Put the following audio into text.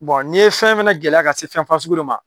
Bɔn n'i ye fɛn fɛnɛ gɛlɛya ka se fɛn fasugu dɔ ma.